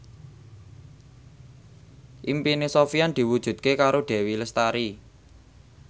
impine Sofyan diwujudke karo Dewi Lestari